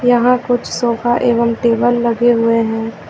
यहां कुछ सोफा एवं टेबल लगे हुए हैं।